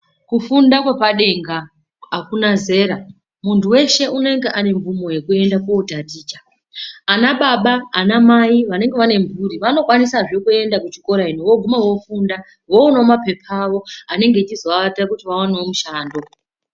Kufunda kwepadenga akuna zera muntu weshe unenge aine mvumo yekuenda kotaticha. Ana baba, ana mai vanenge vaine mhuri vanokwanisazve kuenda kuchikora ino voguma vofunda vopuva mapepa avo anenge achizovaita kuti vaone mushando.